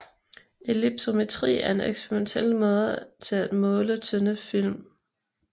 Ellipsometri er en eksperimentel metode til at måle tynde film